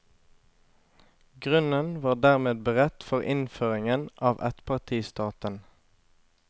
Grunnen var dermed beredt for innføringen av ettpartistaten.